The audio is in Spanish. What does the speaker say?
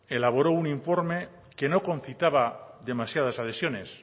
elaboró un informe que no concitaba demasiadas adhesiones